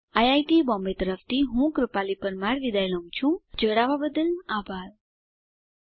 iit Bombay તરફથી spoken tutorial project માટે ભાષાંતર કરનાર હું જ્યોતી સોલંકી વિદાય લઉં છું